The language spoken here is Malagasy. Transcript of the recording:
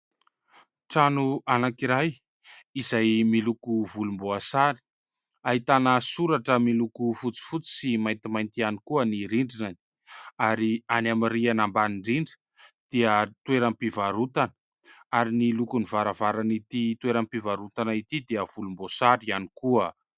Trano anankiray izay miloko volomboasary. Ahitana soratra miloko fotsifotsy sy maintimainty ihany koa ny rindriny. Ary any amin'ny rihana ambany indrindra dia toeram-pivarotana. Ary ny lokon'ny varavaranan'ity toeram-pivarotana ity dia volomboasary ihany koa.